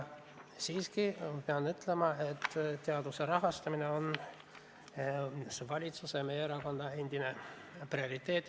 Siiski pean ütlema, et teaduse rahastamine on endiselt valitsuse ja meie erakonna prioriteet.